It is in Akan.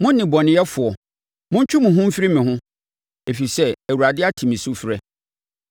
Mo nnebɔneyɛfoɔ, montwe mo ho mfiri me ho, ɛfiri sɛ Awurade ate me sufrɛ.